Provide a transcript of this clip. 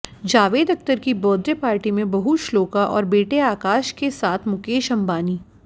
जावेद अख्तर की birthday party में बहू श्लोका और बेटे आकाश के साथ मुकेश अंबानी